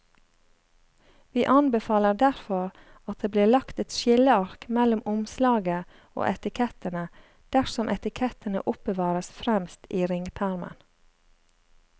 Vi anbefaler derfor at det blir lagt et skilleark mellom omslaget og etikettene dersom etikettene oppbevares fremst i ringpermen.